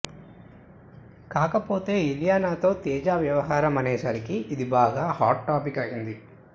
కాకపోతే ఇలియానాతో తేజ వ్యవహారం అనే సరికి ఇది బాగా హాట్ టాపిక్ అయింది